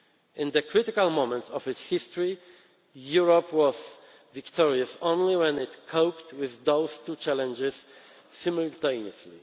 of this tension. In the critical moments of its history, Europe was victorious only when it coped with those two challenges